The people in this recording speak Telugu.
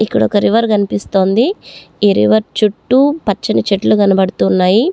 ఇక్కడ ఒక రివర్ కనిపిస్తోంది ఈ రివర్ చుట్టూ పచ్చని చెట్లు కనబడుతూ ఉన్నాయి.